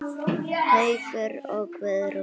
Haukur og Guðrún.